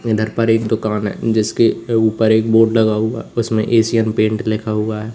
इधर पर एक दुकान है जिसके ऊपर एक बोर्ड लगा हुआ है उसमें एशियन पेंट लिखा हुआ है।